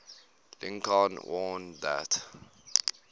lincoln warned that